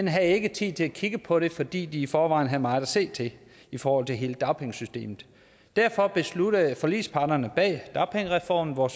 havde ikke tid til at kigge på det fordi de i forvejen havde meget at se til i forhold til hele dagpengesystemet derfor besluttede forligsparterne bag dagpengereformen hvor